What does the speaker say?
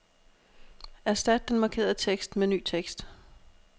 Erstat den markerede tekst med ny tekst.